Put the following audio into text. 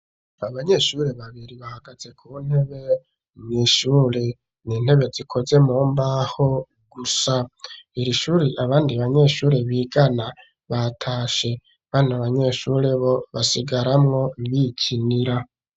Abanyeshuri babiri bahagaze ku ntebe nishuri n'intebe zikoze mumbaho gusa, iri shuri abandi banyeshuri bigana batashe ,bano banyeshuri bo basigaramwo bikinira.